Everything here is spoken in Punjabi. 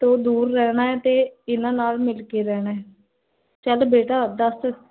ਤੋ ਦੂਰ ਰਹਨਾ ਹੈ, ਤੇ ਇੰਨਾ ਨਾਲ ਮਿਲ ਕੇ ਰਹਨਾ ਹੈ ਚਲ ਬੇਟਾ, ਦੱਸ